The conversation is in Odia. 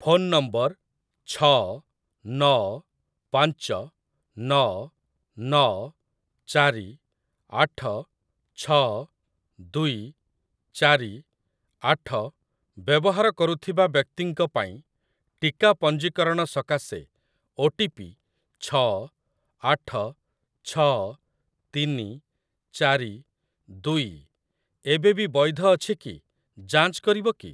ଫୋନ ନମ୍ବର ଛଅ ନଅ ପାଞ୍ଚ ନଅ ନଅ ଚାରି ଆଠ ଛଅ ଦୁଇ ଚାରି ଆଠ ବ୍ୟବହାର କରୁଥିବା ବ୍ୟକ୍ତିଙ୍କ ପାଇଁ ଟିକା ପଞ୍ଜୀକରଣ ସକାଶେ ଓଟିପି ଛଅ ଆଠ ଛଅ ତିନି ଚାରି ଦୁଇ ଏବେବି ବୈଧ ଅଛି କି ଯାଞ୍ଚ କରିବ କି?